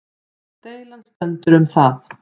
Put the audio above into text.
Deilan stendur um það